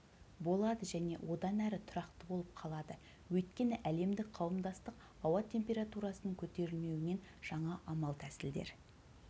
болады және одан әрі тұрақты болып қалады өйткені әлемдік қауымдастық ауа температурасының көтерілмеуінен жаңа амал-тәсілдер